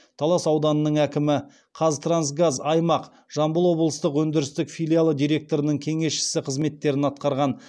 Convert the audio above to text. талас ауданының әкімі қазтрансгаз аймақ жамбыл облыстық өндірістік филиалы директорының кеңесшісі қызметтерін атқарған